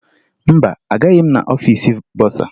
Mba, agaghị m aga n'ọfiisi bọsaa